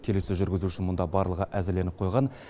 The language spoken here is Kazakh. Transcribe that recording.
келіссөз жүргізуге барлығы әзірленіп қойған